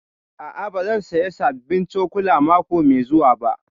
A'a, ba zan saya sabbin cokula mako mai zuwa ba